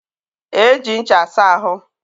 e ji ncha asa ahụ.